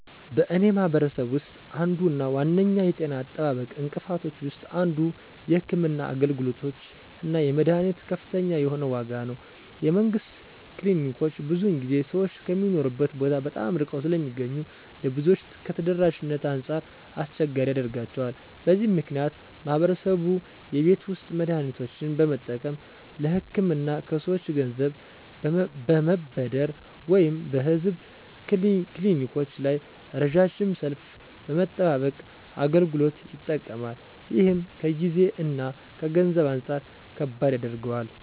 በእኔ ማህበረሰብ ውስጥ አንዱ እና ዋነኛው የጤና አጠባበቅ እንቅፋቶች ውስጥ አንዱ የሕክምና አገልግሎቶች እና የመድኃኒቶች ከፍተኛ የሆነ ዋጋ ነው። የመንግስት ክሊኒኮች ብዙውን ጊዜ ሰዎች ከሚኖሩበት ቦታ በጣም ርቀው ስለሚገኙ ለብዙዎች ከተደራሽነት አንጻር አስቸጋሪ ያደርጋቸዋል። በዚህ ምክንያት ማህበረሰቡ የቤት ውስጥ መድሃኒቶችን በመጠቀም፣ ለህክምና ከሰወች ገንዘብ በመበደር ወይም በህዝብ ክሊኒኮች ላይ ረዣዥም ሰልፍ በመጠባበቅ አገልግሎቱ ይጠቀማል። ይህም ከጊዜ እና ከገንዘብ አንጻር ከባድ ያደርገዋል።